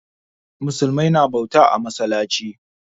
Musulmai na bauta a masallaci.